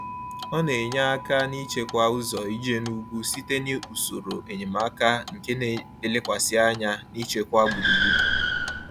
Ọ na-enye aka n’ịchekwa ụzọ ije n’ugwu site n’usoro enyemaka nke na-elekwasị anya n’ichekwa gburugburu.